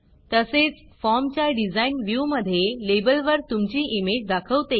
तसेच फॉर्मच्या डिझाईन व्ह्यूमधे लेबलवर तुमची इमेज दाखवते